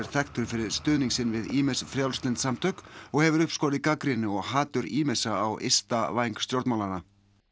þekktur fyrir stuðning sinn við ýmis frjálslynd samtök og hefur uppskorið gagnrýni og hatur ýmissa á ysta væng stjórnmálanna